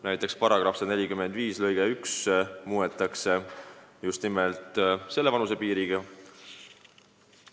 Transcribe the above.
Näiteks § 145 lõiget 1 muudetaks just nimelt selle vanusepiiri sätestamisega.